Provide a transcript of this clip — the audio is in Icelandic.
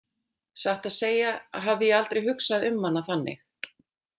Satt að segja hafði ég aldrei hugsað um hana þannig.